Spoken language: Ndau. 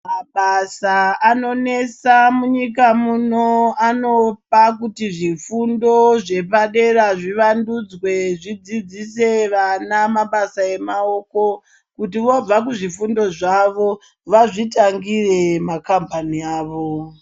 Mabasa anonesa munyika muno anopa kuti zvifundo zvepadera zvivandudzwe zvidzidzise vana mabasa emaoko kuti voobva kuzvifundo zvavo vazvitangire makhambani avo.